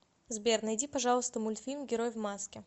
сбер найди пожалуйста мультфильм герой в маске